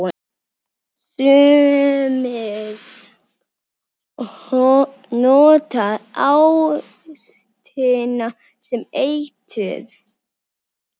Sumir nota ástina sem eitur.